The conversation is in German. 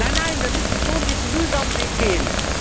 Nein, nein, wir müssen schon den mühsamen Weg gehen!